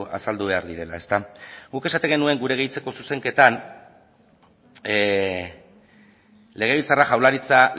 azaldu behar direla guk esaten genuen gure gehitzeko zuzenketan legebiltzarra jaurlaritza